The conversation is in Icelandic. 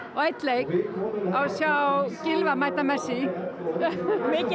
á einn leik að sjá Gylfa mæta messi mikil